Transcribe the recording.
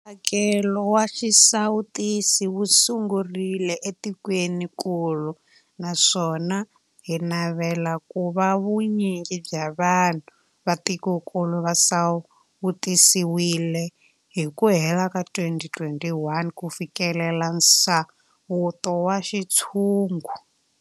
Mphakelo wa xisawutisi wu sungurile etikwenikulu naswona hi navela ku va vu nyingi bya vanhu va tikokulu va sawutisiwile hi ku hela ka 2021 ku fikelela nsawuto wa xintshungu.